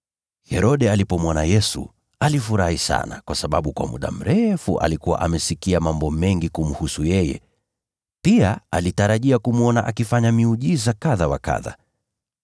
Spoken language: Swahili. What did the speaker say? Herode alipomwona Yesu alifurahi sana, kwa sababu kwa muda mrefu alikuwa amesikia mambo mengi kumhusu yeye. Pia alitarajia kumwona akifanya miujiza kadha wa kadha.